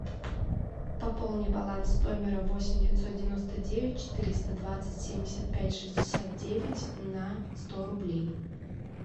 пополни баланс номера восемь девятьсот девяносто девять четыреста двадцать семьдесят пять шестьдесят девять на сто рублей